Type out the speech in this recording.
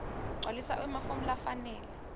gcwalisa emafomu lafanele